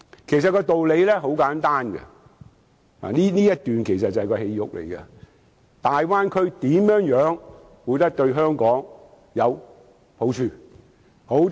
其實道理很簡單——我以下說的便是內容核心部分——大灣區對香港有何好處？